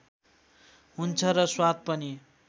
हुन्छ र स्वाद पनि